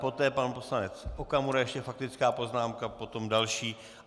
Poté pan poslanec Okamura ještě faktická poznámka, potom další.